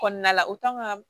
Kɔnɔna la u kan ka